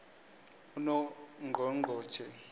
unongqongqotjhe